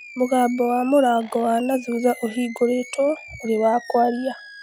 Mũgambo wa mũrango wa na thutha ũhingũrĩtwo ũrĩ wa kwaria